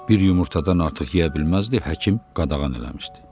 Bir yumurtadan artıq yeyə bilməzdi, həkim qadağan eləmişdi.